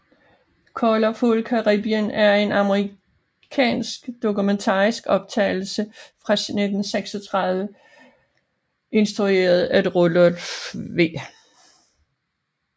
Colorful Caribbean er en amerikansk dokumentarisk optagelse fra 1936 instrueret af Rudolph W